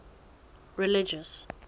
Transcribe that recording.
religious